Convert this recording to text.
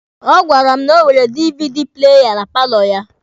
Ọ gwara m na o nwere DVD playa na paalọ ya.